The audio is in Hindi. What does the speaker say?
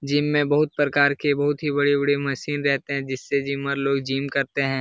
जिम में बहोत प्रकार के बहोत ही बड़े-बड़े मशीन रहते है| जिससे जिमर लोग जिम करते हैं।